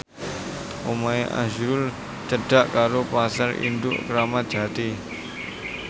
omahe azrul cedhak karo Pasar Induk Kramat Jati